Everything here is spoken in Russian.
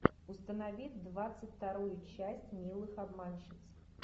установи двадцать вторую часть милых обманщиц